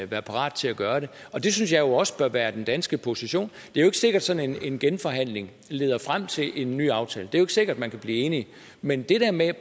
være parat til at gøre det og det synes jeg jo også bør være den danske position det er ikke sikkert at sådan en genforhandling leder frem til en ny aftale det er ikke sikkert man kan blive enige men det der med